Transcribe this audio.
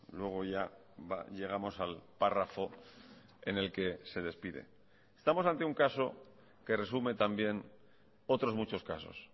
luego ya llegamos al párrafo en el que se despide estamos ante un caso que resume también otros muchos casos